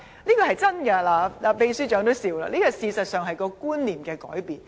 這是千真萬確的，秘書長也笑了，事實上這是觀念的改變。